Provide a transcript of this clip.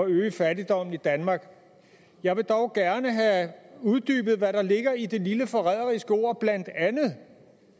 øge fattigdommen i danmark jeg vil dog gerne have uddybet hvad der ligger i det lille forræderiske ord blandt andet